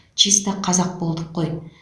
чиста қазақ болдық қой